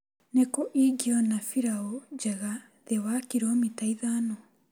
Nĩkũ ingĩona biraũ njega thĩ wa kiromita ithano?